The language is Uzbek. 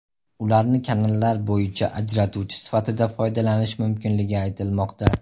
Ularni kanallar bo‘yida ajratuvchi sifatida foydalanish mumkinligi aytilmoqda.